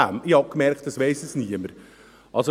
Ich habe gemerkt, dass es niemand weiss.